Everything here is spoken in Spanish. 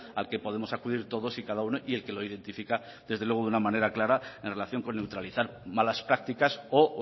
al que podemos acudir todos y cada uno y el que lo identifica desde luego de una manera clara en relación con neutralizar malas prácticas o